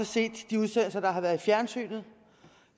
set de udsendelser der har været i fjernsynet